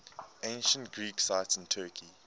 ancient greek sites in turkey